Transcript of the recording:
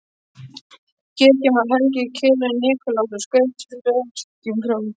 Kirkjan var helguð heilögum Nikulási og skreytt freskum frá